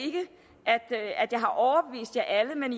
jeg at jeg har overbevist alle men